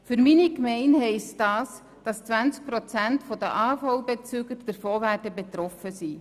Für meine Gemeinde bedeutet dies, dass 20 Prozent der AHV-Beziehenden davon betroffen sein werden.